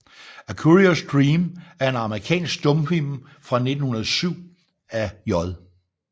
A Curious Dream er en amerikansk stumfilm fra 1907 af J